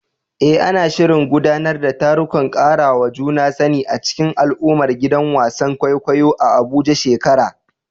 Eh, ana shirin gudanar da tarukan karawa juna sani a cikin al’ummar gidan wasan kwaikwayo a Abuja shekara